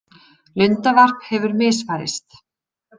Lundavarp hefur misfarist